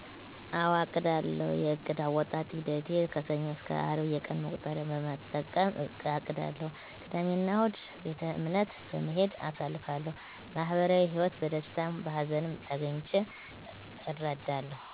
አወ አቅዳለሁ የዕቅድ አወጣጥ ሂደቴ ከሰኞ እስከ አርብ የቀን መቁጠሪያ በመጠቀም አቅዳለሁ ቅዳሜ እና እሁድ ቤተእምነት በመሄድ አሳልፋለሁ ማህበራዊ ህይወት በደስታም በሀዘንም ተገኝቼ እረዳለሁ